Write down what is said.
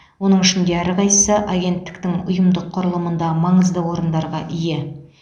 оның ішінде әрқайсысы агенттіктің ұйымдық құрылымында маңызды орындарға ие